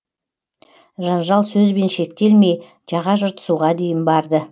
жанжал сөзбен шектелмей жаға жыртысуға дейін барды